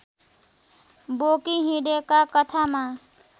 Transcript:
बोकी हिँडेका कथामा